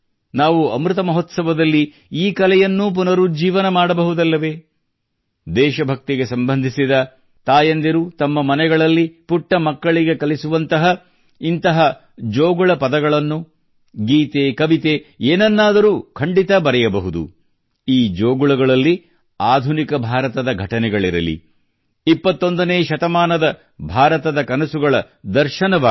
ನಾವು ಅಮೃತ ಮಹೋತ್ಸವದಲ್ಲಿ ಈ ಕಲೆಯನ್ನೂ ಪುನರುಜ್ಜೀವನ ಮಾಡಬಹುದಲ್ಲವೇ ದೇಶಭಕ್ತಿಗೆ ಸಂಬಂಧಿಸಿದ ತಾಯಂದಿರು ತಮ್ಮ ಮನೆಗಳಲ್ಲಿ ಪುಟ್ಟ ಮಕ್ಕಳಿಗೆ ಕಲಿಸುವಂತಹ ಇಂಥ ಜೋಗುಳ ಪದಗಳನ್ನು ಗೀತೆ ಕವಿತೆ ಏನನ್ನಾದರೂ ಖಂಡಿತ ಬರೆಯಬಹುದು ಈ ಜೋಗುಳಗಳಲ್ಲಿ ಆಧುನಿಕ ಭಾರತದ ಘಟನೆಗಳಿರಲಿ 21 ನೇ ಶತಮಾನದ ಭಾರತದ ಕನಸುಗಳ ದರ್ಶನವಾಗಲಿ